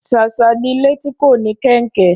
Ṣàṣà ni ilé tí kò ní kẹnkẹ